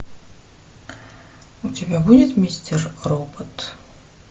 у тебя будет мистер робот